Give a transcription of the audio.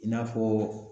I n'a fɔ